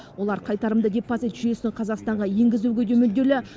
олар қайтарымды депозит жүйесін қазақстанға енгізуге де мүдделі